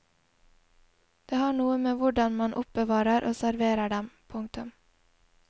Det har noe med hvordan man oppbevarer og serverer dem. punktum